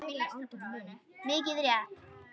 Mikið rétt!